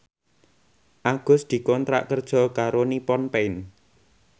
Agus dikontrak kerja karo Nippon Paint